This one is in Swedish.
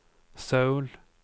Söul